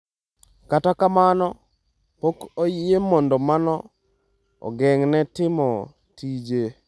Kata kamano, pok oyie mondo mano ogeng’e timo tije.